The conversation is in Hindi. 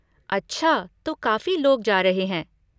अच्छा तो काफी लोग जा रहे हैं!